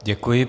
Děkuji.